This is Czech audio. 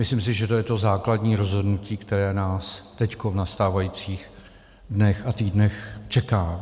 Myslím si, že to je to základní rozhodnutí, které nás teď v nastávajících dnech a týdnech čeká.